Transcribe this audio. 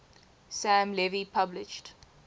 sam levy published